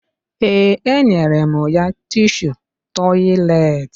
Ee, enyere m ya tishu tọyịleetị